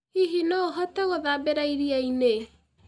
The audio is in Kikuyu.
Hihi no ũhote gũthambĩra iria-inĩ?